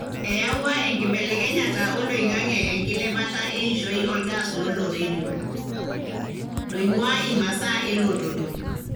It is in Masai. eyawua enkibelekenyata olaingange enkilepata eishoi olgas lolorerio, loingua imasaa elototo.